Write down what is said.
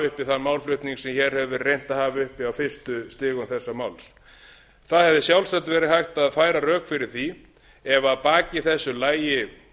uppi þann málflutning sem hér hefur verið reynt að hafa uppi á fyrstu stigum þessa máls það hefði sjálfsagt verið hægt að færa rök fyrir því ef að baki þessu lægju